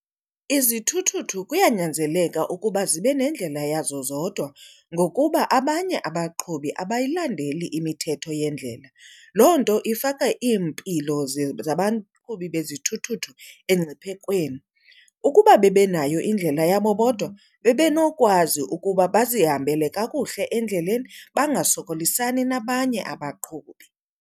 Izithuthuthu kuyanyanzeleka ukuba zibe nendlela yazo zodwa ngokuba abanye abaqhubi abayilandeli imithetho yendlela. Loo nto ifaka iimpilo zabaqhubi bezithuthuthu emngciphekweni. Ukuba bebenayo indlela yabo bodwa bebenokwazi ukuba bazihambele kakuhle endleleni bangasokolisani nabanye abaqhubi.